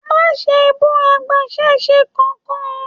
Má ṣe bú agbasẹ́se kánkan!